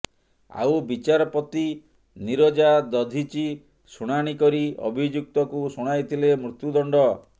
ଆଉ ବିଚାରପତି ନୀରଜା ଦଧିଚି ଶୁଣାଣି କରି ଅଭିଯୁକ୍ତକୁ ଶୁଣାଇଥିଲେ ମୃତ୍ୟୁ ଦଣ୍ଡ